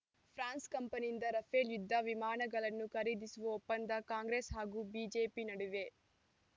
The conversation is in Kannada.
ಫ್ರಾನ್ಸ್‌ ಕಂಪನಿಯಿಂದ ರಫೇಲ್‌ ಯುದ್ಧ ವಿಮಾನಗಳನ್ನು ಖರೀದಿಸುವ ಒಪ್ಪಂದ ಕಾಂಗ್ರೆಸ್‌ ಹಾಗೂ ಬಿಜೆಪಿ ನಡುವೆ